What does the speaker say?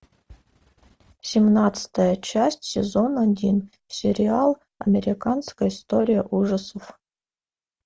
семнадцатая часть сезон один сериал американская история ужасов